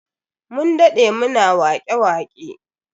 Mun dade muna wake-waƙe.